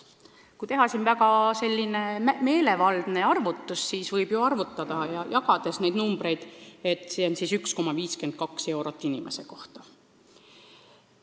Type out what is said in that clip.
Kui teha selline meelevaldne jagamistehe, siis tuleb välja, et see teeb 1,52 eurot inimese kohta.